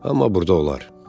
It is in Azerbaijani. Amma burda olar.